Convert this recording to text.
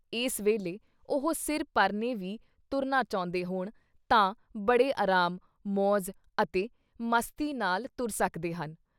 ਇਸ ਵੇਲੇ ਉਹ ਸਿਰ ਪਰਨੇ ਵੀ ਤੁਰਨਾ ਚਾਹੁੰਦੇ ਹੋਣ ਤਾਂ ਬੜੇ ਅਰਾਮ, ਮੌਜ਼ ਅਤੇ ਮਸਤੀ ਨਾਲ਼ ਤੁਰ ਸਕਦੇ ਹਨ।